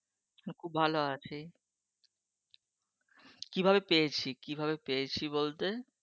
খুব ভালো আছি? কী ভাবে পেয়েছি? কী ভাবে পেয়েছি বলতে?